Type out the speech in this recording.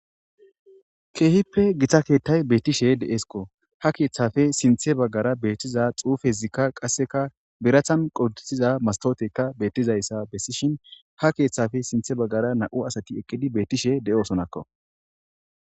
keehippe githa keettay beettishe de7eskko ha keeththafe sinthe baggara beethtiza xuufezikka qasseka birathan qoditiza mastotekka beettizayssa bessishin ha keeththafe sinthe baggara nau asati ekkidi bettishe de7osonakko